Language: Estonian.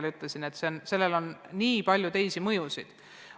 Ma ütlesin tookord, et sellel oleks väga palju mõjusid.